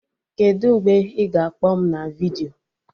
Kedụ mgbe ị ga-akpọ m na vidiyo?